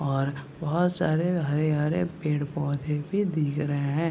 और बोहोत सारे हरे-हरे पेड़ पौधे भी दिख रहे हैं।